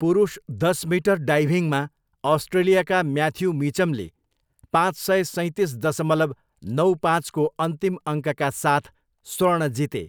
पुरुष दस मिटर डाइभिङमा अस्ट्रेलियाका म्याथ्यू मिचमले पाँच सय सैँतिस दशमलव नौ पाँचको अन्तिम अङ्कका साथ स्वर्ण जिते।